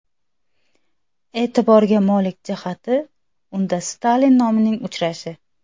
E’tiborga molik jihati unda Stalin nomining uchrashi.